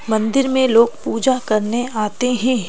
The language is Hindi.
मंदिर में लोग पूजा करने आते हैं।